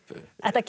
þetta gengur